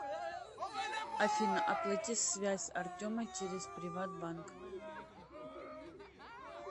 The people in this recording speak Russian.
афина оплати связь артема через приват банк